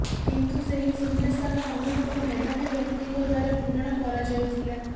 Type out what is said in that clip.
କିନ୍ତୁ ସେହି ଶୂନ୍ୟସ୍ଥାନ ଅନୁରୂପ ମେଧାବୀ ବ୍ୟକ୍ତିଙ୍କ ଦ୍ବାରା ପୂରଣ କରାଯାଉଥିଲା